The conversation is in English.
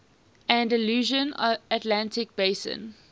andalusian atlantic basin